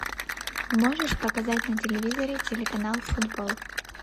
можешь показать на телевизоре телеканал футбол